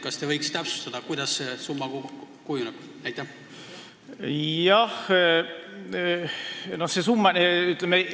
Kas te võiks täpsustada, kuidas see summa kujuneb?